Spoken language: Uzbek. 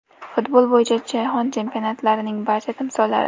Futbol bo‘yicha Jahon Chempionatlarining barcha timsollari .